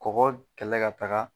Mɔgɔ kɛlɛ ka taga